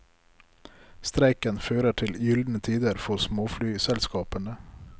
Streiken fører til gyldne tider for småflyselskapene.